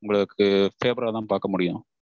so உங்களுக்கு favour தா பாக்க முடியும்.